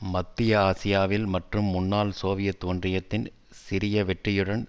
மத்திய ஆசியாவில் மற்றும் முன்னாள் சோவியத் ஒன்றியத்தின் சிறிய வெற்றியுடன்